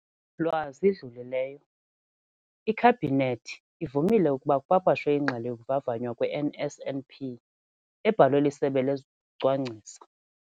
lwa zidlulileyo, iKhabhinethi ivumile ukuba kupapashwe iNgxelo yokuVavanywa kwe-NSNP, ebhalwe liSebe lezokuCwangcisa.